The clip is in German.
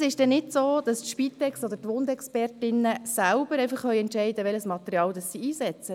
Es ist nicht so, dass die Spitex oder die Wundexpertinnen selbst entscheiden kann, welches Material sie einsetzen.